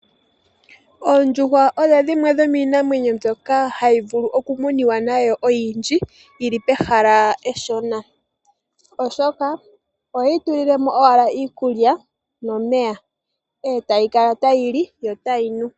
Oondjuhwa odho dhimwe dhomiinamwenyo mbyoka hayi vulu oku muniwa nayo oyindji, yili pehala eshona, oshoka ohoyi tulile mo owala iikulya nomeya, e tayi kala tayi li, yo tayi nu.